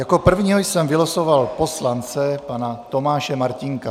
Jako prvního jsem vylosoval poslance pana Tomáše Martínka.